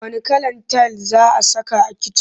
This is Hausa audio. Wanne kalar tayil za saka a kicin?